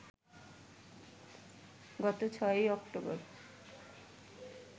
গত ৬ অক্টোবর